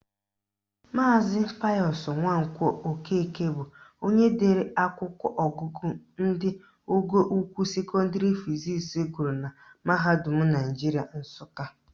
Maazi Payọsụ Nwankwọ Okeke bụ onye dere akwụkwọ ọgụgụ ndị ọgọ ukwuu sekọndịrị fizisi gụrụ na mahadum Naijiria Nsụka